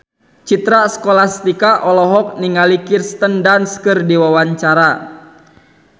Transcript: Citra Scholastika olohok ningali Kirsten Dunst keur diwawancara